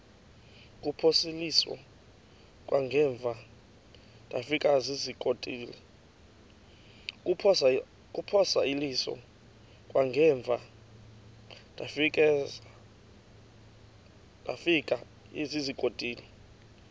kuphosiliso kwangaemva ndafikezizikotile